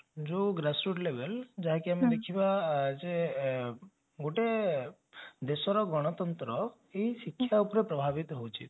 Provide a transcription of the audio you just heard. ଯୋଉ grass root level ଯାଇକି ଆମେ ଦେଖିବା ଆ ଯେ ଗୋଟେ ଦେଶର ଗଣତନ୍ତ୍ର ଏଇ ଶିକ୍ଷା ଉପରେ ପ୍ରଭାବିତ ହଉଛି